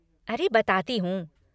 अरे बताती हूँ।